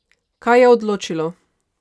Kaj je odločilo?